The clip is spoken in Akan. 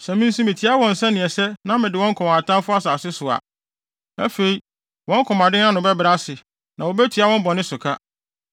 Sɛ me nso mitia wɔn sɛ nea ɛsɛ na mede wɔn kɔ wɔn atamfo asase so a, afei, wɔn komaden no ano bɛbrɛ ase, na wobetua wɔn bɔne so ka.